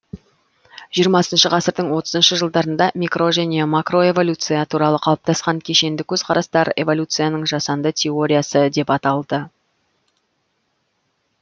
жиырмасыншы ғасырдың отызыншы жылдарында микро және макроэволюция туралы қалыптасқан кешенді көзқарастар эволюцияның жасанды теориясы деп аталды